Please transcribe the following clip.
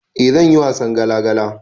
Eh zanyi wasan gala gala